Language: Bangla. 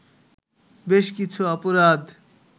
বেশকিছু অপরাধ